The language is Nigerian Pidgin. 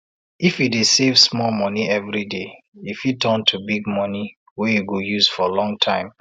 if you dey save small monie every day e fit turn to big monie wey you go use for long time